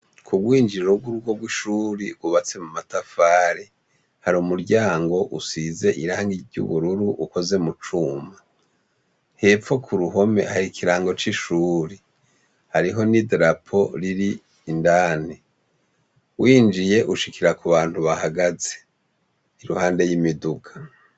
Kugwinjiriro gurugo rwishure rwubatse mumatafari hari umuryango usize irangi ryubururu ukoze mucuma hepfo kuruhome hari ikirango cishure hariho ni darapo riri indani winjiye ushikira kubantu bahagaze iruhande yimiduga